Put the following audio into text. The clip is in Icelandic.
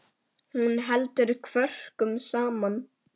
Hún heldur kvörkum saman.